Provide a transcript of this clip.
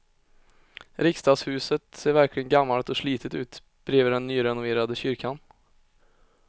Riksdagshuset ser verkligen gammalt och slitet ut bredvid den nyrenoverade kyrkan.